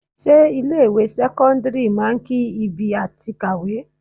Ṣé ilé ìwé sẹ́kọ́ńdírì máa ń ki ibi àti kàwé?